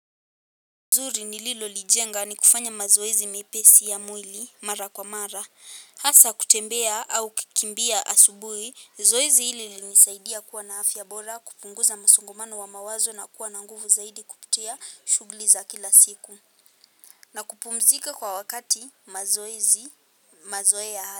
Nzuri nililolijenga, ni kufanya mazoezi mepesi ya mwili mara kwa mara hasa kutembea au kukimbia asubui, zoezi hili lilinisaidia kuwa na afya ya bora, kupunguza msongamano wa mawazo na kuwa na nguvu zaidi kupitia shughuli za kila siku na kupumzika kwa wakati mazoezi mazoea.